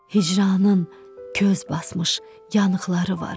Hicranın köz basmış yanıqları var.